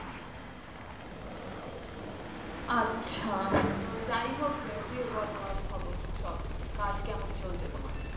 আচ্ছা যাই হোক তো দিয়ে বলো আর খবর সব কাজ কেমন চলছে তোমার?